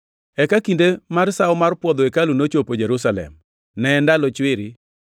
Eka kinde mar Sawo mar Puodho hekalu nochopo Jerusalem. Ne en ndalo chwiri